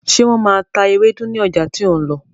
Ṣé wọ́n máa ta ewédú ní ọjà tíó n lọ?